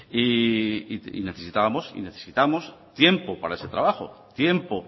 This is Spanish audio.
y necesitamos tiempo para ese trabajo tiempo